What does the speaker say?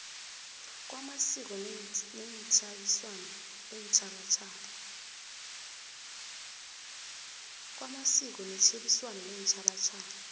kwamasiko netjhebiswano leentjhabatjhaba